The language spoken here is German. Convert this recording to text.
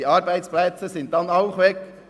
Die Arbeitsplätze sind dann auch weg.